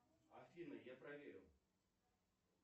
афина я проверю